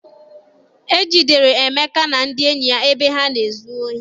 E jidere Emeka na ndị enyi ya ebe ha na-ezu ohi.